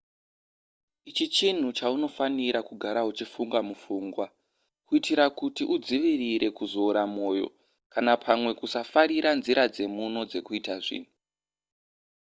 ichi chinhu chaunofanira kugara uchifunga mupfungwa kuitira kuti udzivirire kuzoora moyo kana pamwe kusafarira nzira dzemuno dzekuita zvinhu